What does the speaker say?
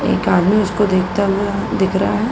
एक आदमी उसको देखता हुआ दिख रहा है।